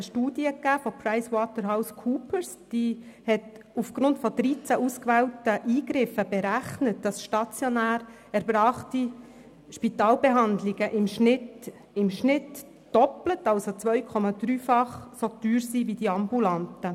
Eine Studie von PricewaterhouseCoopers hat aufgrund von 13 ausgewählten Eingriffen berechnet, dass stationär erbrachte Spitalbehandlungen im Durchschnitt 2,3-fach so teuer sind wie die ambulanten.